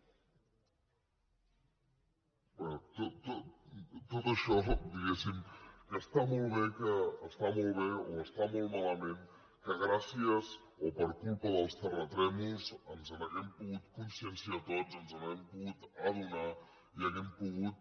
bé tot això diguem ne que està molt bé o està molt malament que gràcies o per culpa dels terratrèmols ens n’haguem pogut conscienciar tots ens n’haguem pogut adonar i haguem pogut